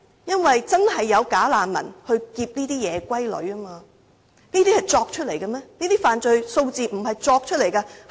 因為確實有"假難民"打劫這些夜歸女，這些問題難道是虛構出來嗎？